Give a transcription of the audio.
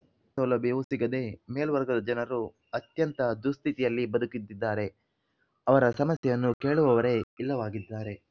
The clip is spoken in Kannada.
ದೇಶದಲ್ಲಿ ಯಾವುದೆ ಸೌಲಭ್ಯವೂ ಸಿಗದೆ ಮೇಲ್ವರ್ಗದ ಜನರು ಅತ್ಯಂತ ದುಸ್ಥಿತಿಯಲ್ಲಿ ಬದುಕುತ್ತಿದ್ದಾರೆ ಅವರ ಸಮಸ್ಯೆಯನ್ನು ಕೇಳುವವರೇ ಇಲ್ಲವಾಗಿದ್ದಾರೆ